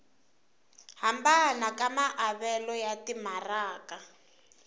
hambana ka maavelo ya timaraka